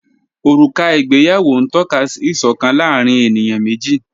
Ọruka igbèyàwó n tọ̀kà sí ìṣọkan láàrín ènìyàn meji